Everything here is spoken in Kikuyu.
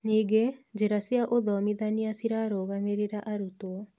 Ningĩ, njĩra cia ũthomithania cirarũgamĩrĩra arutwo